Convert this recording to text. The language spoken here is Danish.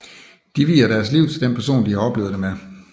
De vier deres liv til den person de har oplevet det med